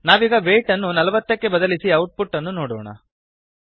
ನಾವೀಗ ವೇಯ್ಟ್ ನ್ನು ೪೦ ಕ್ಕೆ ಬದಲಿಸಿ ಔಟ್ ಪುಟ್ ಅನ್ನು ನೋಡೋಣ